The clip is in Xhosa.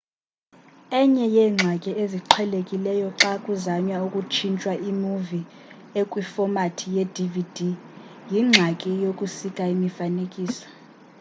enye yeengxaki eziqhelekileyo xa kuzanywa ukutshintsha imuvi ekwifomathi ye-dvd yingxaki yokusika imifanekiso